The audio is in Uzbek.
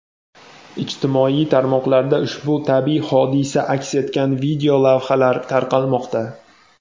Ijtimoiy tarmoqlarda ushbu tabiiy hodisa aks etgan videolavhalar tarqalmoqda.